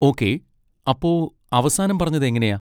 Okay. അപ്പോ അവസാനം പറഞ്ഞത് എങ്ങനെയാ?